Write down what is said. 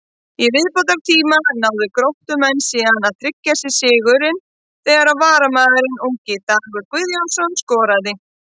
Í viðbótartíma náðu Gróttumenn síðan að tryggja sér sigurinn þegar varamaðurinn ungi Dagur Guðjónsson skoraði.